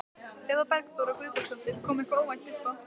Eva Bergþóra Guðbergsdóttir: Kom eitthvað óvænt uppá?